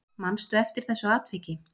Manstu eftir þessu atviki?